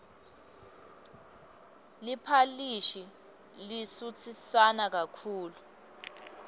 liphalishi lisutsisana kakhulu